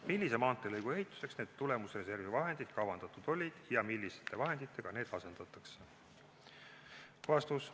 Millise maanteelõigu ehituseks need tulemusreservi vahendid kavandatud olid ja milliste vahenditega need asendatakse?